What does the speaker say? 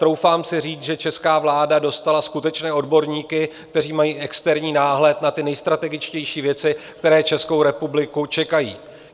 Troufám si říct, že česká vláda dostala skutečné odborníky, kteří mají externí náhled na ty nejstrategičtější věci, které Českou republiku čekají.